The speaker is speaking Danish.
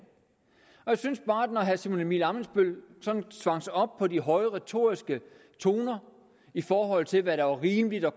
jeg synes bare at når herre simon emil ammitzbøll sådan svang sig op på de høje retoriske toner i forhold til hvad der var rimeligt og